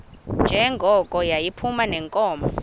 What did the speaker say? njengoko yayiphuma neenkomo